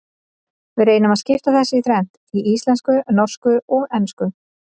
Við reynum að skipta þessu í þrennt, í íslensku, norsku og ensku.